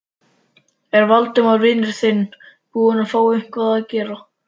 Er Valdimar vinur þinn búinn að fá eitthvað að gera?